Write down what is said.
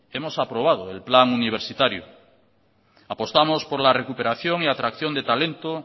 hemos aprobado el plan universitario apostamos por la recuperación y atracción de talento